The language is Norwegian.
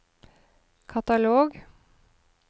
katalog